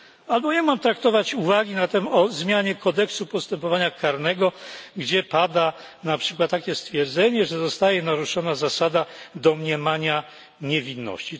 Albo jak mam traktować uwagi o zmianie kodeksu postępowania karnego, gdzie pada na przykład takie stwierdzenie, że zostaje naruszona zasada domniemania niewinności.